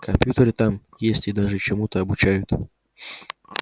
компьютеры там есть и даже чему-то обучают